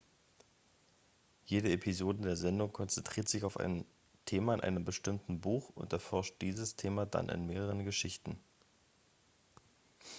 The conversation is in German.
jede episode der sendung konzentriert sich auf ein thema in einem bestimmten buch und erforscht dieses thema dann in mehreren geschichten